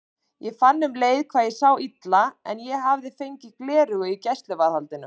Ég fann um leið hvað ég sá illa en ég hafði fengið gleraugu í gæsluvarðhaldinu.